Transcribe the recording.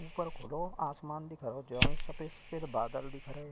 ऊपर खुलो आसमान दिखरो जौन सफ़ेद-सफ़ेद बादल दिख रहे।